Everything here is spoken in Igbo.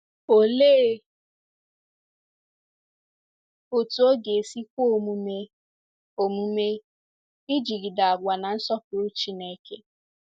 Olee otú ọ ga-esi kwe omume omume ịjigide àgwà na-nsọpụrụ Chineke?